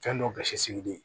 Fɛn dɔw gasi sigilen